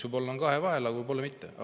Võib-olla on nad kahevahel, aga võib-olla mitte.